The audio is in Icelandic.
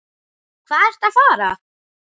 Hvað ertu að fara?